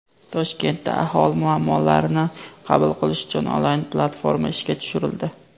Toshkentda aholi muammolarini qabul qilish uchun onlayn platforma ishga tushirildi.